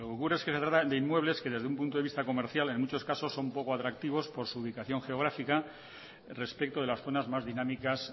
lo que ocurre es que se trata de inmuebles que desde un punto de vista comercial en muchos casos son poco atractivos por su ubicación geográfica respecto de las zonas más dinámicas